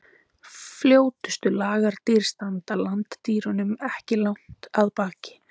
Fljótustu lagardýr standa landdýrunum ekki langt að baki.